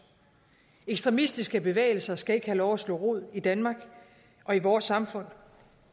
ekstremistiske bevægelser skal ikke have lov at slå rod i danmark og i vores samfund